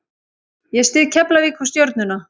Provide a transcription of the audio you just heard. Ég styð Keflavík og Stjörnuna.